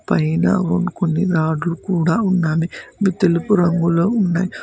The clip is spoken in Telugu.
పైన కొన్ని రాడ్లు కూడా ఉన్నవి అవి తెలుపు రంగులో ఉన్నవి.